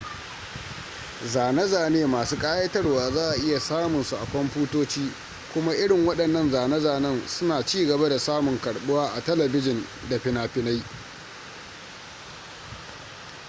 zane-zane masu kayatarwa za a iya samun su a kwamfutoci kuma irin wadannan zane-zanen suna ci gaba da samun karbuwa a telebijin da finafinai